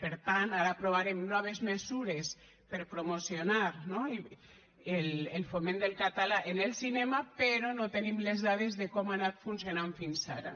per tant ara aprovarem noves mesures per promocionar no el foment del català en el cinema però no tenim les dades de com ha anat funcionant fins ara